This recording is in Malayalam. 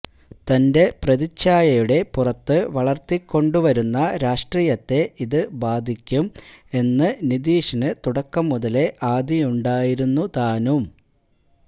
തന്റെ പ്രതിച്ഛായയുടെ പുറത്ത് വളര്ത്തിക്കൊണ്ടുവരുന്ന രാഷ്ട്രീയത്തെ ഇത് ബാധിക്കും എന്ന് നിതീഷിന് തുടക്കം മുതലേ ആധിയുണ്ടായിരുന്നു താനും